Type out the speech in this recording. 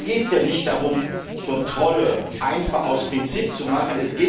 Es geht hier nicht darum, Kontrollen einfach aus Prinzip zu machen.